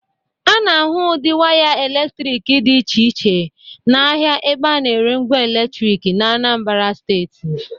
A na-ahụ ụdị waya eletrik dị iche iche n’ahịa ebe a na-ere ngwa eletrik n’Anambara steeti.